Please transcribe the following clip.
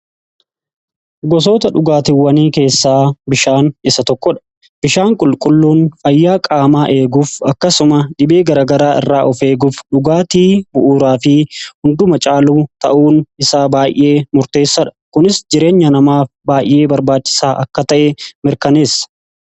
Gosoota dhugaatiwwanii keessaa bishaan isa tokko dha. Bishaan qulqulluun fayyaa qaamaa eeguuf akkasuma dhibee garagaraa irraa of eeguuf dhugaatii bu'uuraa fi hunduma caaluu ta'uun isaa baay'ee murteessadha ,kunis jireenya namaa baay'ee barbaachisaa akka ta'e mirkaneessa.